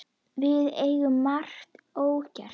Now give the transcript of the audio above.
Við eigum margt ógert.